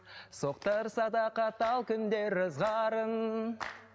соқтарсада қатал күндер ызғарын